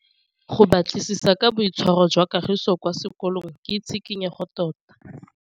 Go batlisisa ka boitshwaro jwa Kagiso kwa sekolong ke tshikinyêgô tota.